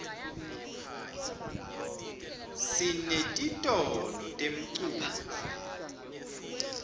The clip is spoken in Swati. sinetitolo temculo